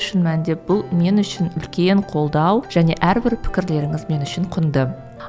шын мәнінде бұл мен үшін үлкен қолдау және әрбір пікірлеріңіз мен үшін құнды